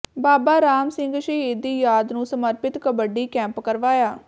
ਬਾਬਾ ਰਾਮ ਸਿੰਘ ਸ਼ਹੀਦ ਦੀ ਯਾਦ ਨੂੰ ਸਮਰਪਿਤ ਕਬੱਡੀ ਕੱਪ ਕਰਵਾਇਆ